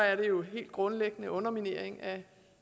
er det jo helt grundlæggende underminering af